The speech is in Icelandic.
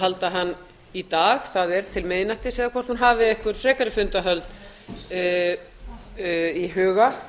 halda hann í dag það er til miðnættis eða hvort hún hafi einhver frekari fundahöld í huga